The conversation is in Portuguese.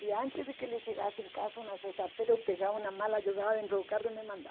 E antes de que ele chegasse em casa uma sexta-feira, eu pegava uma mala, jogava dentro do carro e me mandava.